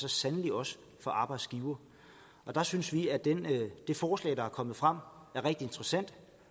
så sandelig også for arbejdsgivere der synes vi at det forslag der er kommet frem er rigtig interessant